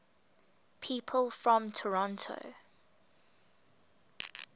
people from toronto